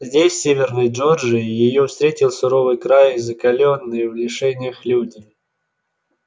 здесь в северной джорджии её встретил суровый край и закалённые в лишениях люди